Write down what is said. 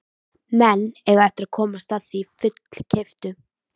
Menn eiga eftir að komast að því fullkeyptu.